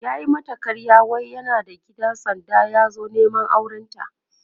yayi mata ƙarya wai yana da gida sanda ya zo Neman aurenta